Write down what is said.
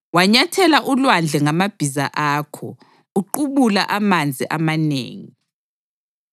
Wanyathela ulwandle ngamabhiza akho, uqubula amanzi amanengi.